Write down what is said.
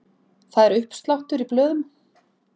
Það er uppsláttur í blöðum.